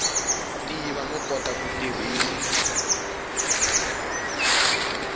tiva no kota ku tirhisa